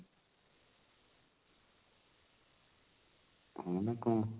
ଆଉ ନହେଲେ କଣ